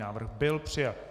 Návrh byl přijat.